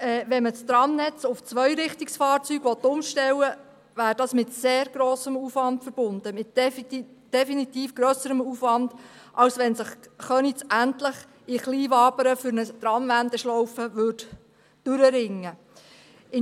Will man das Tramnetz auf Zweirichtungsfahrzeuge umstellen, wäre dies mit sehr grossem Aufwand verbunden, mit definitiv grösserem Aufwand, als wenn sich Köniz in Kleinwabern endlich zu einer Wendeschlaufe durchringen würde.